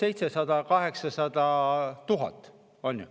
– umbes 700 000 – 800 000.